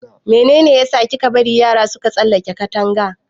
Mene ne ya sa kika bari yara suka tsalaka Katanga?